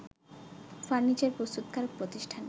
furniture প্রস্তুতকারক প্রতিষ্ঠান